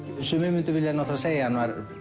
sumir myndu vilja segja að